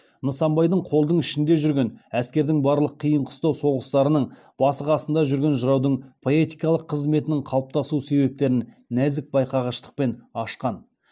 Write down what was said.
нысанбайдың қолдың ішінде жүрген әскердің барлық қиын қыстау соғыстарының басы қасында жүрген жыраудың поэтикалық қызметінің қалыптасу себептерін нәзік байқағыштықпен ашкан